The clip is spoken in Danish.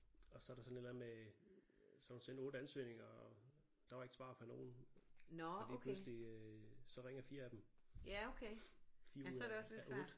Og så er der sådan et eller andet med så har hun sendt 8 ansøgninger og der var ikke svar fra nogen og lige pludselig øh så ringer 4 af dem 4 ud af af 8